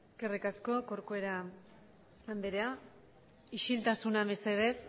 eskerrik asko corcuera anderea isiltasuna mesedez